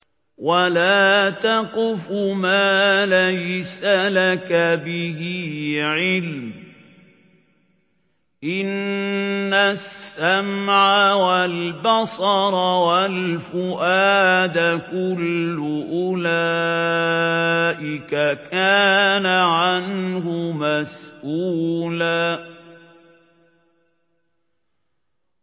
وَلَا تَقْفُ مَا لَيْسَ لَكَ بِهِ عِلْمٌ ۚ إِنَّ السَّمْعَ وَالْبَصَرَ وَالْفُؤَادَ كُلُّ أُولَٰئِكَ كَانَ عَنْهُ مَسْئُولًا